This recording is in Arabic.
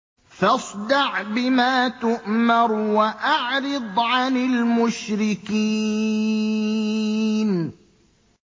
فَاصْدَعْ بِمَا تُؤْمَرُ وَأَعْرِضْ عَنِ الْمُشْرِكِينَ